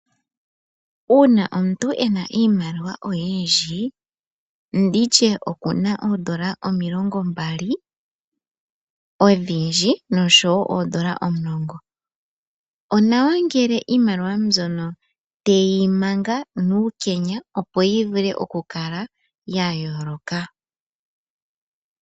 Ngele omuntu ena iimaliwa oyindji nenge N$20 odhindji noshowoo N$10. Onawa ngele iimaliwa mbyono teyi manga nuukenya opo yivule okukala yayooloka.